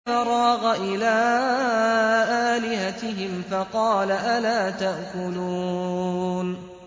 فَرَاغَ إِلَىٰ آلِهَتِهِمْ فَقَالَ أَلَا تَأْكُلُونَ